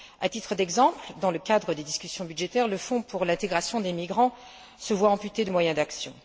À titre d'exemple, dans le cadre des discussions budgétaires, le Fonds pour l'intégration des migrants se voit amputé de moyens d'action.